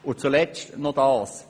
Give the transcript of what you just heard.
Abschliessend noch Folgendes: